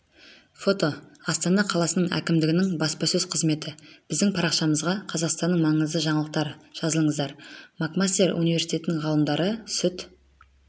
фото астана қаласы әкімдігінің баспасөз қызметі біздің парақшамызда қазақстанның маңызды жаңалықтары жазылыңыздар макмастер университеті ғалымдары сүт